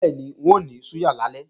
Bẹ́ẹ̀ni, wọ́n máa ní súyà lálẹ́